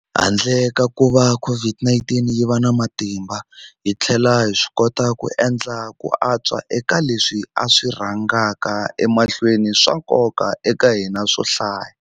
Handle ka kuva COVID-19 yi va na matimba, hi tlhele hi swikota ku endla ku antswa eka leswi swi rhangaka emahlweni swa nkoka eka hina swo hlaya.